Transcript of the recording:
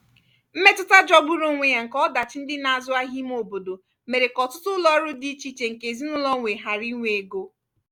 mmetụta jọgburu onwe ya nke ọdachi ndị na-azụ ahịa ime obodo mere ka ọtụtụ ụlọ ọrụ dị icheiche nke ezinụlọ nwe ghara inwe ego.